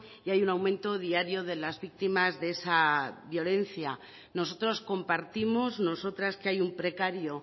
y hay un aumento diario de las víctimas de esa violencia nosotros compartimos nosotras que hay un precario